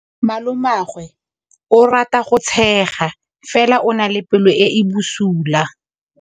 Malomagwe o rata go tshega fela o na le pelo e e bosula.